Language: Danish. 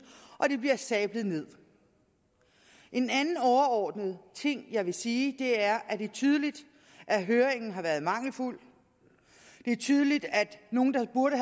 og det bliver sablet nederst en anden overordnet ting jeg vil sige er at det er tydeligt at høringen har været mangelfuld det er tydeligt at nogle der burde